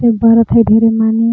ये बरत ह धीरे माने--